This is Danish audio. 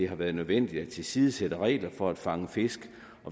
har været nødvendigt at tilsidesætte regler for at fange fisk